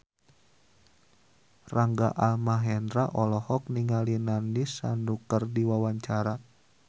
Rangga Almahendra olohok ningali Nandish Sandhu keur diwawancara